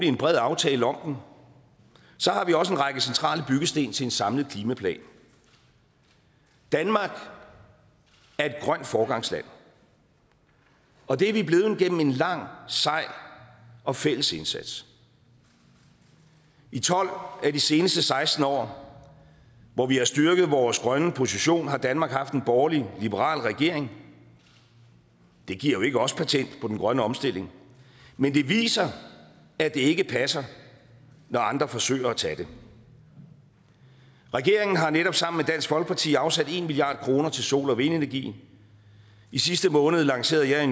en bred aftale om den så har vi også en række centrale byggesten til en samlet klimaplan danmark er et grønt foregangsland og det er vi blevet gennem en lang og sej og fælles indsats i tolv af de seneste seksten år hvor vi har styrket vores grønne position har danmark haft en borgerlig liberal regering det giver ikke os patent på den grønne omstilling men det viser at det ikke passer når andre forsøger af tage det regeringen har netop sammen med dansk folkeparti afsat en milliard kroner til sol og vindenergien i sidste måned lancerede jeg i